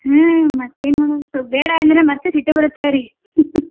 ಹ್ಮ್ ಮತ್ತೇನ್ ಮಾಡೋಣ ಬೇಡಾ ಅಂದ್ರೆ ಮತ್ತೆ ಸಿಟ್ಟ ಬರುತ್ತೆ ಅವ್ರಿಗೆ .